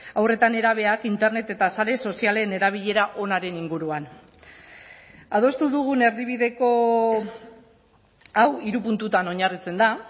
haur eta nerabeak internet eta sare sozialen erabilera onaren inguruan adostu dugun erdibideko hau hiru puntutan oinarritzen da